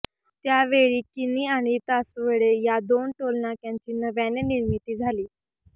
त्याचवेळी किणी आणि तासवडे या दोन टोलनाक्यांची नव्याने निर्मिती झाली